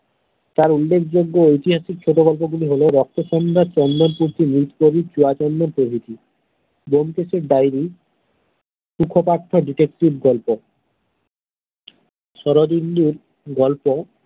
তার উল্ল্যেখযোগ্য ঐতিহাসিক ছোট গল্প গুলি হল রক্ত-সন্ধ্যা চন্দন-মুর্তি, চুয়াচন্দন প্রভৃতি ব্যোমকেশের dairy তুখোকারতো detective গল্প শরদিন্দুর গল্প।